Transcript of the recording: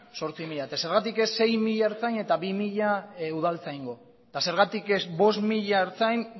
zortzi mila eta zergatik ez sei mila ertzain eta bi mila udaltzaingo eta zergatik ez bost mila ertzain